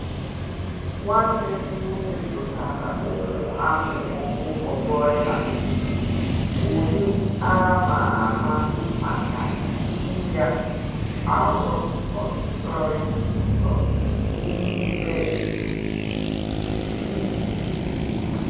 Nwanne m'woke zụtara ụmụ anụ ọkụkọ broiler, ụdị a ma ama maka ịrịa arọ osisor n’ime izu isii.